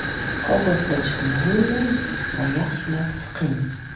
Qog‘oz sochiqni ho‘llang va yaxshilab siqing.